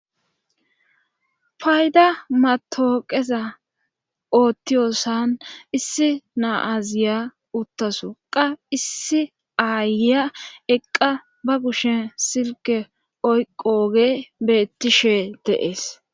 fayda matooqeza oottiyossan issi na'aziya uttasu qa issi aaya eqqa ba kushen silke oyqooge beettishe deees